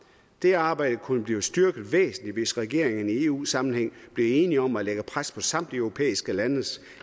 det arbejde kunne blive styrket væsentligt hvis regeringerne i eu sammenhæng blev enige om at lægge pres på samtlige europæiske landes